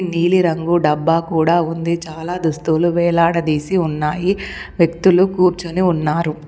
నీలిరంగు డబ్బా కూడా ఉంది చాలా దుస్తువులు వేలాడదీసి ఉన్నాయి వ్యక్తులు కూర్చుని ఉన్నారు.